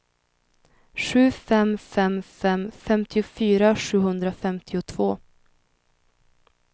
sju fem fem fem femtiofyra sjuhundrafemtiotvå